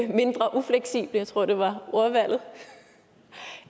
mindre ufleksible jeg tror det var ordvalget